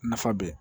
Nafa bɛ